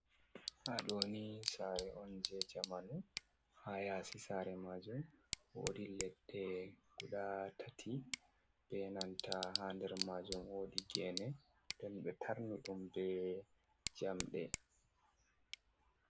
Haaɗo ni sasre on jei jamanu. Haa yaasi saare majum, woodi leɗɗe guda tati, be nanta haa nder majum woodi gene, nden ɓe tarni ɗum be jamde.